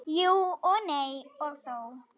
Jú og nei og þó.